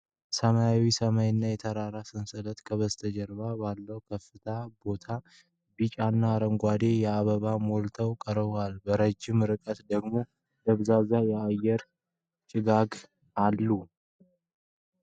ሰማያዊ ሰማይና የተራራ ሰንሰለቶች ከበስተጀርባው ባለበት ክፍት ቦታ ቢጫና አረንጓዴ አበባዎች ሞልተው ቀርበዋል። በረጅም ርቀት ደግሞ ደብዛዛ የአየር ጭጋግ አለ።